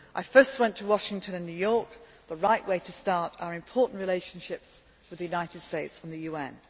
I first went to Washington and New York, which was the right way to start our important relationships with the United States and the